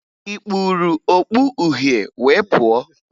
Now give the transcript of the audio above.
Ị kpuru okpu uhie wee pụọ?